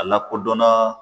Alakodɔn na